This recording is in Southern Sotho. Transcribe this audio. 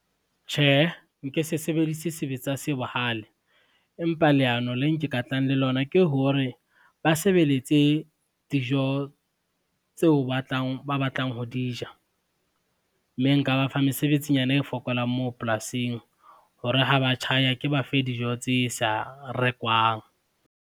Tjhe, nke se sebedise sebetsa se bohale, empa leano le nke ka tlang le lona ke hore, ba sebeletse dijo tseo ba batlang ho di ja. Mme nka ba fa mesebetsinyana e fokolang moo polasing hore ha ba tjhaya ke ba fe dijo tse sa rekwang.